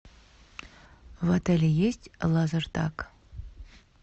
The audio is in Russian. в отеле есть лазертаг